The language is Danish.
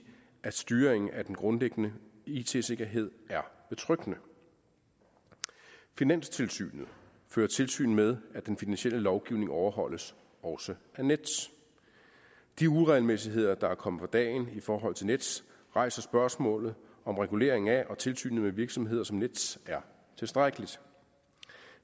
at styringen af den grundlæggende it sikkerhed er betryggende finanstilsynet fører tilsyn med at den finansielle lovgivning overholdes også af nets de uregelmæssigheder der er kommet for dagen i forhold til nets rejser spørgsmålet om reguleringen af og tilsynet med virksomheder som nets er tilstrækkeligt